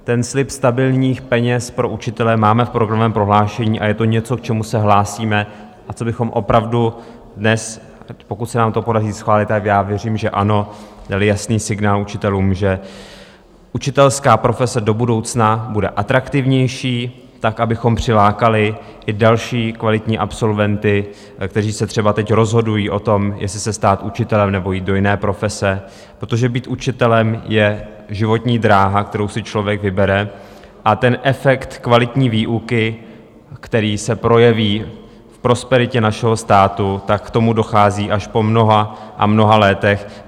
Ten slib stabilních peněz pro učitele máme v programovém prohlášení a je to něco, k čemu se hlásíme a čím bychom opravdu dnes, pokud se nám to podaří schválit, a já věřím, že ano, dali jasný signál učitelům, že učitelská profese do budoucna bude atraktivnější tak, abychom přilákali i další kvalitní absolventy, kteří se třeba teď rozhodují o tom, jestli se stát učitelem, nebo jít do jiné profese, protože být učitelem je životní dráha, kterou si člověk vybere, a ten efekt kvalitní výuky, který se projeví v prosperitě našeho státu, tak k tomu dochází až po mnoha a mnoha letech.